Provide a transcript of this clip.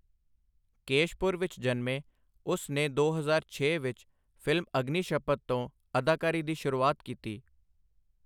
ਕੇਸ਼ਪੁਰ ਵਿੱਚ ਜਨਮੇ, ਉਸ ਨੇ ਦੋ ਹਜ਼ਾਰ ਛੇ ਵਿੱਚ ਫਿਲਮ ਅਗਨੀਸ਼ਪਥ ਤੋਂ ਅਦਾਕਾਰੀ ਦੀ ਸ਼ੁਰੂਆਤ ਕੀਤੀ।